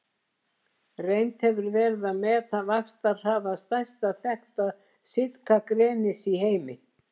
Reynt hefur verið að meta vaxtarhraða stærsta þekkta sitkagrenis í heimi.